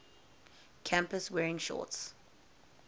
campus wearing shorts